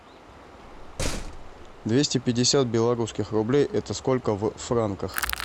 двести пятьдесят белорусских рублей это сколько в франках